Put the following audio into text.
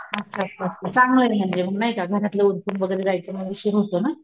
अच्छा अच्छा अच्छा चांगलय म्हणजे मग नाही का घरातलं उरकून वैगेरे जायचं मग उशीर होतो ना,